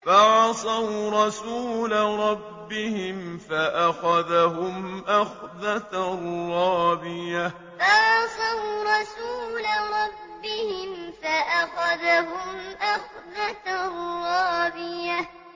فَعَصَوْا رَسُولَ رَبِّهِمْ فَأَخَذَهُمْ أَخْذَةً رَّابِيَةً فَعَصَوْا رَسُولَ رَبِّهِمْ فَأَخَذَهُمْ أَخْذَةً رَّابِيَةً